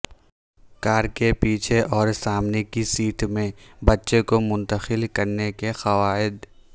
کار کے پیچھے اور سامنے کی سیٹ میں بچے کو منتقل کرنے کے قواعد